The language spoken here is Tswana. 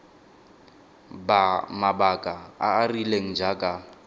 mabaka a a rileng jaaka